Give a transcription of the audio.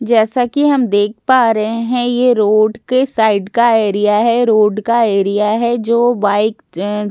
जैसा कि हम देख पा रहे है ये रोड के साइड का एरिया है रोड का एरिया है जो बाइक अ बाइक --